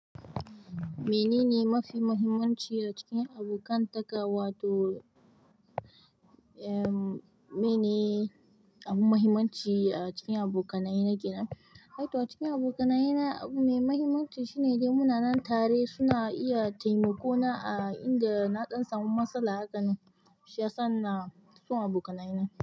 Manene mafi mahimmanci a cikin abokan taka wato, eh, mene abu mahimmanci a cikin abokanaye na kenan? Eh to a cikin abokanaye na abu mai mahimmanci shine dai muna nan tare suna iya taimako na a inda na ɗan samu matsala haka nan. Shiyasa ina son abokanaye na.